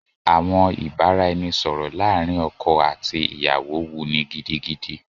Àwọn ìbáraẹnisọ̀rọ̀ láàrin ọkọ àti ìyàwó wuni gidigidi